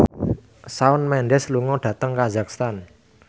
Shawn Mendes lunga dhateng kazakhstan